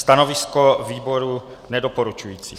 Stanovisko výboru nedoporučující.